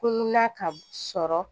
Ko nuna ka sɔrɔ